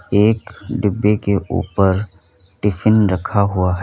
एक डिब्बे के ऊपर टिफिन रखा हुआ है।